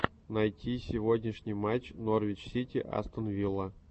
найди сегодняшний матч норвич сити астон вилла